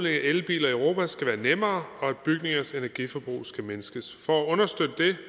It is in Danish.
elbiler i europa skal være nemmere og at bygningernes energiforbrug skal mindskes for at understøtte det